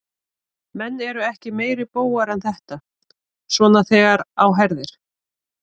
Menn eru ekki meiri bógar en þetta, svona þegar á herðir.